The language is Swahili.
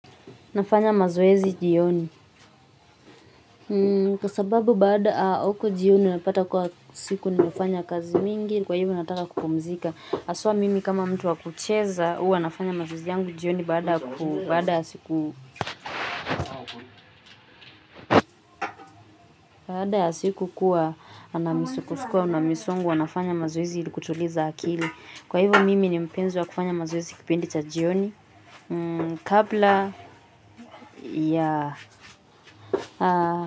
Nafanya mazoezi jioni kwa sababu baada huko jioni napata kuwa siku nimefanya kazi mingi kwa hivyo nataka kupumzika haswa mimi kama mtu wa kucheza huwa nafanya mazoezi yangu jioni baada ya siku baada ya siku kuwa na misukosuko na misongo huwa nafanya mazoezi ili kutuliza akili kwa hivyo mimi ni mpenzi wa kufanya mazoezi kipindi cha jioni kabla ya.